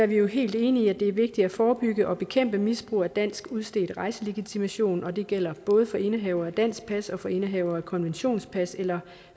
vi helt enige i at det er vigtigt at forebygge og bekæmpe misbrug af dansk udstedt rejselegitimation og det gælder både for indehavere af dansk pas og for indehavere af konventionspas eller